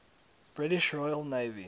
british royal navy